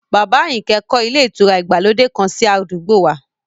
Bàbá Àyìnkẹ́ kọ́ ilé ìtura ìgbàlódé kan sí àdúgbò wa